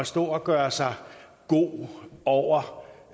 stå at gøre sig god over